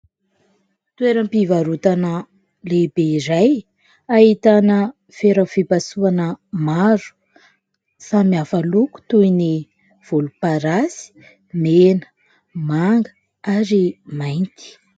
Toeram-pivarotana lehibe iray ahitana fera fipasohana maro samihafa miloko toy ny volomparasy, mena, manga ary mainty.